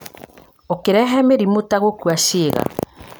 ũkĩrehe mĩrimũ ta gũkua ciĩga